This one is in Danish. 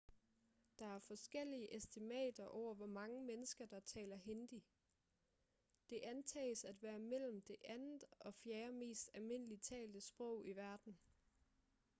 der er forskellige estimater over hvor mange mennesker der taler hindi det antages at være mellem det andet og fjerde mest almindeligt talte sprog i verden